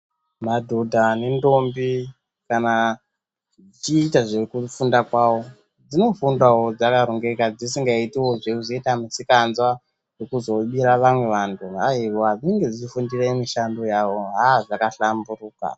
Madhodha nendombi kana achiita zvekufunda kwawo, dzinofundawo dzakarongeka, dzisingazoiti wo zvekuzoita misikanzwa yekuzobira vamwe vantu, aiwa dzinenge dzichifundira mishando, aa, zvaka hlamburuka.